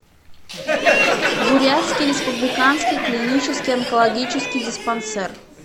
бурятский республиканский клинический онкологический диспансер